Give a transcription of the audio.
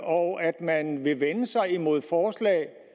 og at man vil vende sig imod forslag